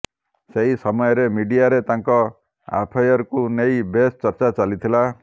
ସେହି ସମୟରେ ମିଡିଆରେ ତାଙ୍କ ଆଫଏରକୁ ନେଇ ବେଶ ଚର୍ଚ୍ଚା ଚାଲିଥିଲା